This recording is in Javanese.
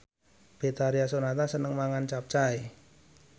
Betharia Sonata seneng mangan capcay